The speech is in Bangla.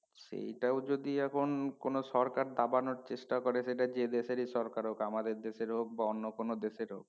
সেটাও যদি এখন কোন সরকার দাবানোর চেষ্টা করে সেটা যে দেশেরই সরকার হক আমাদের দেশের হক বা অন্য কোন দেশের হক